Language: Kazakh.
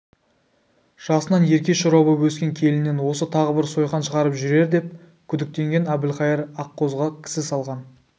жасынан ерке-шора боп өскен келінінен осы тағы бір сойқан шығарып жүрердеп күдіктенген әбілқайыр аққозыға кісі салған